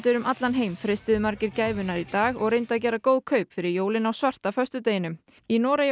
um allan heim freistuðu margir gæfunnar í dag og reyndu að gera góð kaup fyrir jólin á svarta föstudeginum í Noregi